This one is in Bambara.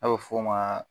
A bɛ f'o ma